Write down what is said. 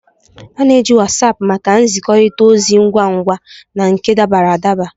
A na-eji Wasapu maka nzikọrịta ozi ngwa ngwa na nke dabara adaba.